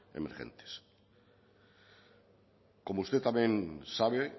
emergentes como usted también sabe